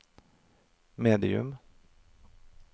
medium